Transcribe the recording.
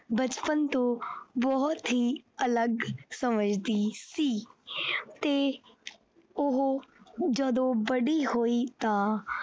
ਬਚਪਨ ਤੋਂ ਬਹੁਤ ਹੀ ਅਲਗ ਸਮਝਦੀ ਸੀ ਤੇ ਉਹ ਜਦੋਂ ਵੱਡੀ ਹੋਈ ਤਾਂ।